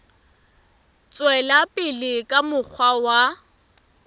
tswela pele ka mokgwa wa